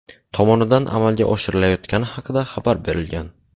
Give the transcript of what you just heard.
tomonidan amalga oshirilayotgani haqida xabar berilgan.